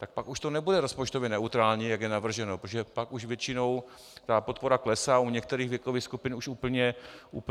Tak pak už to nebude rozpočtově neutrální, jak je navrženo, protože pak už většinou ta podpora klesá, u některých věkových skupin už úplně končí.